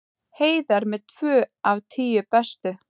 Heiðar með tvö af tíu bestu